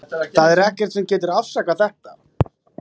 Það er ekkert sem getur afsakað þetta.